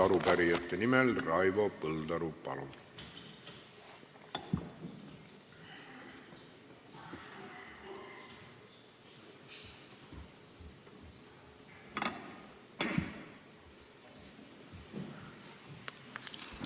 Arupärijate nimel Raivo Põldaru, palun!